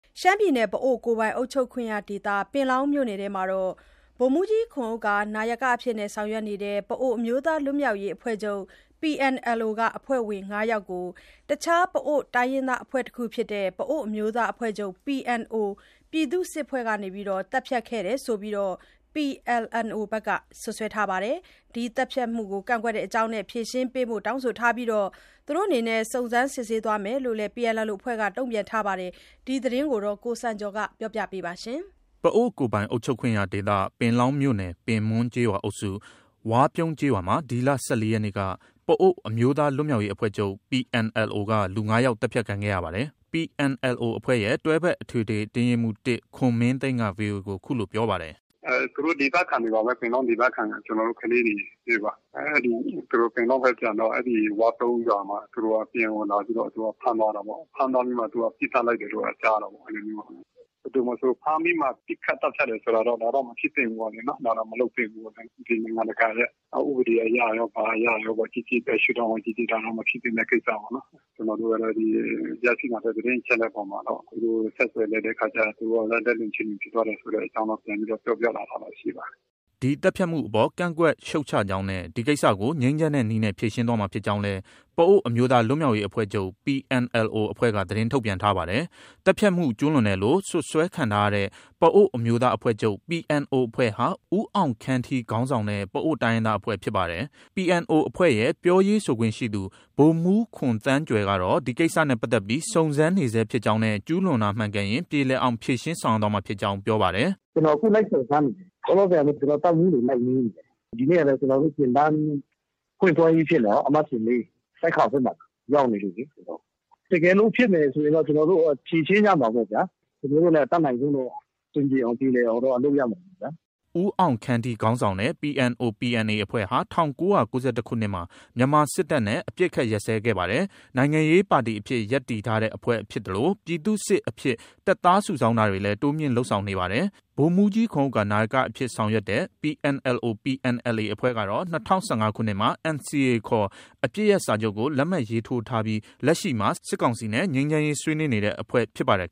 ရှမ်းပြည်နယ် ပအိုဝ်းကိုယ်ပိုင်အုပ်ချုပ်ခွင့်ရဒေသ ပင်လောင်းမြို့နယ်အတွင်းမှာ ဗိုလ်မှူးကြီးခွန်ဥက္ကာ နာယကအဖြစ် ဆောင်ရွက်နေတဲ့ ပအိုဝ်း အမျိုးသား လွတ်မြောက်ရေးအဖွဲ့ချုပ် PNLO က အဖွဲ့ဝင် ၅ ယောက်ကို တခြား ပအိုဝ်းတိုင်းရင်းသား အဖွဲ့တခုဖြစ်တဲ့ ပအိုဝ်းအမျိုးသားအဖွဲ့ချုပ် PNO ပြည်သူ့စစ်အဖွဲ့က သတ်ဖြတ်ခဲ့တယ်ဆိုပြီး PLNO က စွပ်စွဲထားပါတယ်။ ဒီသတ်ဖြတ်မှုကို ကန့်ကွက်တဲ့အကြောင်းနဲ့ ဖြေရှင်းပေးဖို့ တောင်းဆိုထားပြီး စုံစမ်းစစ်ဆေးသွားမယ်လို့လည်း PNLO အဖွဲ့က တုံ့ပြန်ထားပါတယ်။ ဒီသတင်းကို ကိုစံကျော်က တင်ပြထားပါတယ်။ ပအိုဝ်းကိုယ်ပိုင်အုပ်ချုပ်ခွင့်ရဒေသ ပင်လောင်းမြို့နယ် ပင်မွန်းကျေးရွာအုပ်စု၊ ဝါးပြုံးကျေးရွာမှာ ဒီလ ၁၄ ရက်နေ့က ပအိုဝ်း အမျိုးသား လွတ်မြောက်ရေးအဖွဲ့ချုပ် PNLO က လူ ၅ ယောက် သတ်ဖြတ်ခံခဲ့ရတာပါ။ PNLO အဖွဲ့ရဲ့ တွဲဖက်အထွေထွေအတွင်းရေးမှူး ၁ ခွန်မင်းသိန်းက VOA ကို အခုလို ပြောပါတယ်။ “သူတို့ ပင်လောင်းဒေသခံတွေပါပဲ။ ပင်လောင်းဒေသခံ ကျနော်တို့ ကလေးတွေပါ။ သူတို့ ပင်လောင်းဘက် ပြန်တော့ အဲဒီဝါးပြုန်းရွာမှာ အဲဒီ PNO လာပြီးတော့ ဖမ်းသွားတာပေါ့။ ဖမ်းပြီးတော့မှ ပစ်သတ်လိုက်တယ်လို့ပဲ ကြားရတာပေါ့။ ဘယ်သူမဆို ဖမ်းပြီးမှ ပစ်ခတ်သတ်ဖြတ်တယ်ဆိုတာတော့ မဖြစ်သင့်ဘူးလေ နော်။ ဒါတော့ မလုပ်သင့်ဘူး။ နိုင်ငံတကာရဲ့ ဥပဒေအရရော၊ ဘာအရရော ဘယ်ရှု့ဒေါင့်က ကြည့်ကြည့် ဒါတော့ မဖြစ်သင့်တဲ့ ကိစ္စပေါ့နော်။ ကျနော်တို့ကတော့ ရရှိလာတဲ့ သတင်းအချက်အလက်အပေါ်မှာတော့ သူတို့ကို ဆက်သွယ် လိုက်တဲ့အခါ သူတို့က လက်လွန် ခြေလွန်ဖြစ်သွားတယ်ဆိုတဲ့အကြောင်း ပြန်ပြီးတော့ ပြောပြလာတာ ရှိပါတယ်။” ဒီသတ်ဖြတ်မှုအပေါ် ကန့်ကွက်ရှုတ်ချကြောင်းနဲ့ ဒီကိစ္စကို ငြိမ်းချမ်းတဲ့နည်းနဲ့ ဖြေရှင်းသွားမှာဖြစ်ကြောင်းလည်း ပအိုဝ်း အမျိုးသား လွတ်မြောက်ရေးအဖွဲ့ချုပ် PNLO အဖွဲ့က သတင်းထုတ်ပြန်ထားပါတယ်။ သတ်ဖြတ်မှု ကျုးလွန်တယ်လို့ စွပ်စွဲခံထားရတဲ့ ပအိုဝ်းအမျိုးသားအဖွဲ့ချုပ် PNO အဖွဲ့ဟာ ဦးအောင်ခမ်းထီခေါင်းဆောင်တဲ့ ပအိုဝ်း တိုင်းရင်းသားအဖွဲ့ ဖြစ်ပါတယ်။ PNO အဖွဲ့ရဲ့ ပြောရေးဆိုခွင့်ရှိသူ ဗိုလ်မှူးခွန်သန်းကြွယ်ကတော့ ဒီကိစ္စနဲ့ပတ်သက်ပြီး စုံစမ်းနေဆဲဖြစ်ကြောင်းနဲ့ ကျူးလွန်တာမှန်ကန်ရင် ပြေလည်အောင်ဖြေရှင်းသွားမှာဖြစ်ကြောင်း ပြောပါတယ်။ “ကျနော် လိုက်စုံစမ်းနေတယ်။ လောလောဆယ် ကျနော် တပ်မှူးတွေ လိုက်မေးနေတယ်။ ဒီနေ့ကလည်း ကျနော်တို့ သင်တန်းဖွင့်ပွဲကြီးဖြစ်နေတာကို၊ သင်တန်းအမှတ်စဉ် ၄။ ဆိုက်ခေါင်ဘက်မှာ ရောက်နေလို့လေ ကျနော်။ တကယ်လို့ ဖြစ်မယ်ဆိုရင်တော့ ကျနော်တို့ ဖြေရှင်းကြမှာပေါ့ဗျာ။ ကျနော်တို့လည်း အတတ်နိုင်ဆုံးတော့ အဆင်ပြေအောင်။ ပြေလည်အောင်တော့ လုပ်ရမှာပေါ့ဗျာ။ ” ဦးအောင်ခမ်းထီခေါင်းဆောင်တဲ့ PNO/PNA အဖွဲ့ဟာ ၁၉၉၁ ခုနှစ်မှာ မြန်မာစစ်တပ်နဲ့ အပစ်အခတ်ရပ်စဲခဲ့ပါတယ်။ နိုင်ငံရေးပါတီအဖြစ် ရပ်တည်ထားတဲ့အဖွဲ့ဖြစ်သလို ပြည်သူ့စစ်အဖြစ် တပ်သားစုဆောင်းတာတွေလည်း တိုးမြှင့်လုပ်ဆောင်နေပါတယ်။ ဗိုလ်မှူးကြီးခွန်ဥက္ကာ နာယကအဖြစ် ဆောင်ရွက်တဲ့ PNLO/PNLA အဖွဲ့ကတော့ ၂၀၁၅ ခုနှစ်မှာ NCA ခေါ် အပစ်ရပ်စာချုပ်ကို လက်မှတ်ရေးထိုးထားပြီး လက်ရှိမှာ စစ်ကောင်စီနဲ့ ငြိမ်းချမ်းရေးဆွေးနွေးနေတဲ့ အဖွဲ့ဖြစ်ပါတယ်